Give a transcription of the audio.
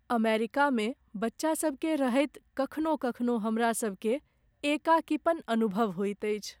अमेरिकामे बच्चासभकेँ रहैत कखनो कखनो हमरासभकेँ एकाकीपन अनुभव होइत अछि।